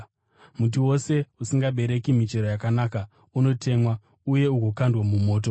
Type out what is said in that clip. Muti wose usingabereki michero yakanaka unotemwa uye ugokandwa mumoto.